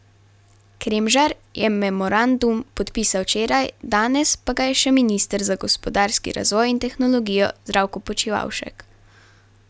Kremžar je memorandum podpisal včeraj, danes pa ga je še minister za gospodarski razvoj in tehnologijo Zdravko Počivalšek.